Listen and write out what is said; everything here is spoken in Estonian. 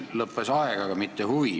Meil lõppes aeg, aga mitte huvi.